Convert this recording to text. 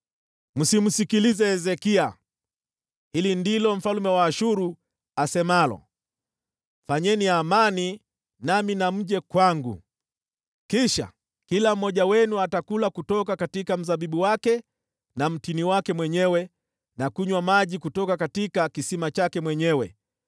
“Msimsikilize Hezekia. Hili ndilo mfalme wa Ashuru asemalo: Fanyeni amani nami na mje kwangu. Kisha kila mmoja wenu atakula kutoka kwa mzabibu wake na mtini wake mwenyewe, na kunywa maji kutoka kisima chake mwenyewe,